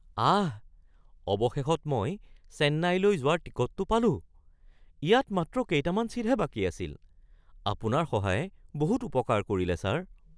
আহ! অৱশেষত মই চেন্নাইলৈ যোৱাৰ টিকটটো পালোঁ। ইয়াত মাত্ৰ কেইটামান ছিটহে বাকী আছিল। আপোনাৰ সহায়ে বহুত উপকাৰ কৰিলে ছাৰ!